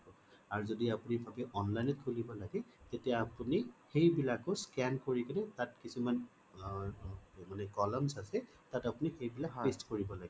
আৰু যদি আপুনি ভাবে online খোলিব তেতিয়া আপুনি সেইবিলাকয়ো scan কৰি তাত কিছুমান মানে columns আছে তাত আপুনি সেই বিলাক paste কৰিব লাগিব